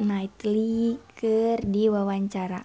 Knightley keur diwawancara